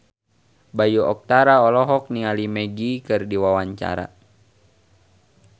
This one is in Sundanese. Bayu Octara olohok ningali Magic keur diwawancara